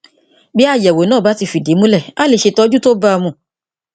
bí àyẹwò náà bá ti fìdí múlẹ a lè ṣe ìtọjú tó bá a mu